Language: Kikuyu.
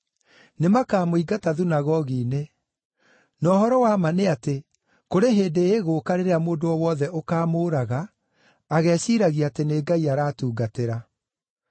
Nĩmakamũingata thunagogi-inĩ; na ũhoro wa ma nĩ atĩ, kũrĩ hĩndĩ ĩgũũka rĩrĩa mũndũ o wothe ũkaamũũraga ageciiragia atĩ nĩ Ngai aratungatĩra.